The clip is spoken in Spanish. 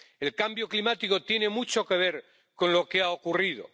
El cambio climático tiene mucho que ver con lo que ha ocurrido.